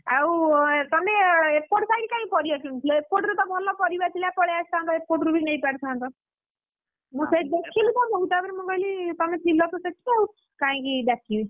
ଆଉ ତମେ ଏପଟ site କାଇଁ ପରିବା କିଣୁଥିଲ ଏପଟରେ ଥିଲା ପଳେଇ ଆସିଥାଆନ୍ତ ତ ଭଲ ପରିବା, ଏପଟରୁ ବି ନେଇପାରିଥାନ୍ତ। ମୁଁ ସେଇଠି ଦେଖିଲି ତମକୁ, ତାପରେ ମୁଁ କହିଲି ତମେ ଥିଲତ ସେଇଠି ଆଉ କାହିଁକି ଡାକିବି,